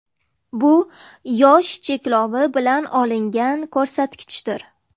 Bu yosh cheklovi bilan olingan ko‘rsatkichdir.